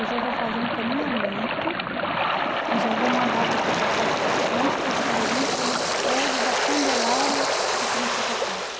Eu já vou fazer um encaminhamento e já vou mandar você passar com um especialista no prédio da Candelária, aqui na Santa Casa.